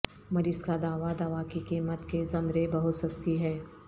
مریض کا دعوی دوا کی قیمت کے زمرے بہت سستی ہے